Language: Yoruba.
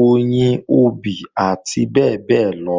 oyin, obì àti bẹ́ẹ̀bẹ́ẹ́lọ